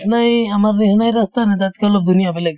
নিচিনাই আমাৰ নিচিনাই ৰাস্তা নে তাতেকে অলপ ধুনীয়া বেলেগ